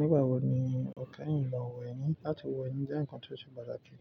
Nígbà wo ni ó kẹ́yìn lọ wẹ̀ ni? Látí wẹ̀ ni jẹ́ ǹkan tí ó ṣe pàtàkì,